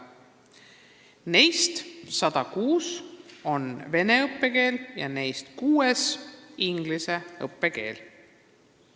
Neist 106-s on vene õppekeel ja kuues inglise õppekeel.